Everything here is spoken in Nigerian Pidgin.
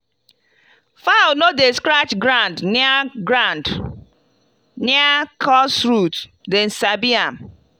fowl no dey scratch ground near ground near cursed roots dem sabi am.